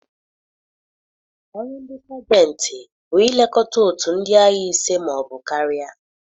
Ọrụ ndị Sajentị bụ ilekọta otu ndị agha ise ma ọ bụ karịa.